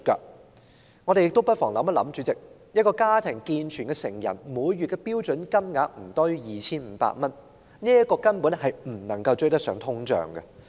主席，我們不妨想想，一個家庭中的健全成人的每月標準金額不多於 2,500 元，根本無法追上通脹。